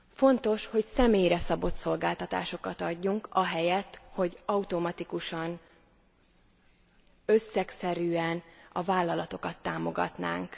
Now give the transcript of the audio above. Fontos, hogy személyre szabott szolgáltatásokat adjunk ahelyett, hogy automatikusan, összegszerűen a vállalatokat támogatnánk.